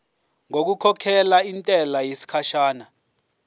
ngokukhokhela intela yesikhashana